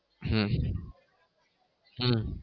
હમ હમ